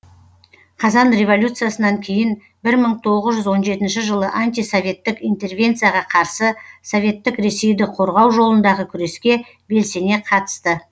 қазан революциясынан кейін бір мың тоғыз жүз он жетінші жылы антисоветтік интервенцияға қарсы советтік ресейді қорғау жолындағы күреске белсене қатысты